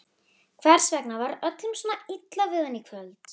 Hvers vegna var öllum svona illa við hann í kvöld?